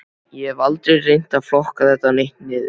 Ég hef aldrei reynt að flokka þetta neitt niður.